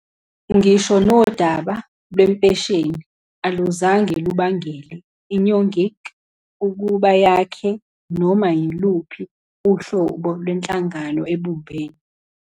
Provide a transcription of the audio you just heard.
Ngisho nodaba lwempesheni aluzange lubangele iNyongik ukuba yakhe noma yiluphi uhlobo lwenhlangano ebumbene.